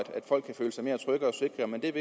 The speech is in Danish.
folk kan føle sig mere trygge og sikre men det